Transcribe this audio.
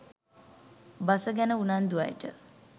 බස ගැන උනන්දු අයට